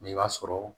Mɛ i b'a sɔrɔ